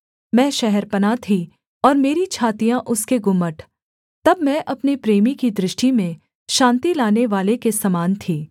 मैं शहरपनाह थी और मेरी छातियाँ उसके गुम्मट तब मैं अपने प्रेमी की दृष्टि में शान्ति लानेवाले के समान थी